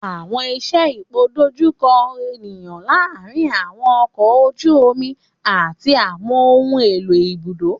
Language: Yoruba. Àwọn iṣẹ ipoidojuko eniyan laarin àwọn ọkọ oju omi ati àwọn ohun elo ibudo.